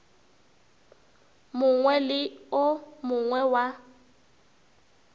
mongwe le o mongwe wa